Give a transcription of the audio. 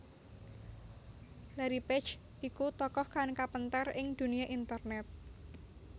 Larry Page iku tokoh kang kapéntar ing dunia internét